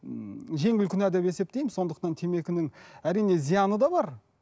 ммм жеңіл күнә деп есептеймін сондықтан темекінің әрине зияны да бар